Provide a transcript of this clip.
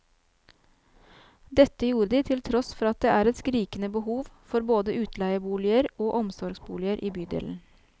Dette gjorde de til tross for at det er et skrikende behov for både utleieboliger og omsorgsboliger i bydelen.